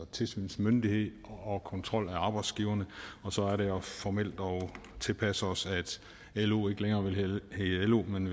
tilsynsmyndighed og kontrol af arbejdsgiverne og så er det formelt at tilpasse os at lo ikke længere vil hedde lo men